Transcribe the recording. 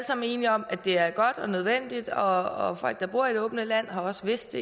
sammen enige om at det er godt og nødvendigt og folk der bor i det åbne land har også vidst